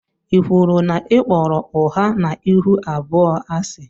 i kwụrụ na i kpọrọ ụgha na ịhụ abụọ asi?